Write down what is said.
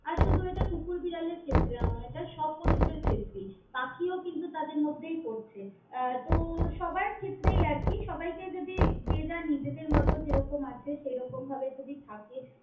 আর শুধু এটা কুকুর বিড়ালের ক্ষেত্রে ন এটা সব পশু দের ক্ষেত্রেই, পাখিও কিন্তু তাদের মধ্যেই পরছে। আহ তো সবার ক্ষেত্রেই আরকি সবাই কে যদি যে যার নিজেদের মতন যেরকম আছে সেরকম ভাবে যদি থাকে।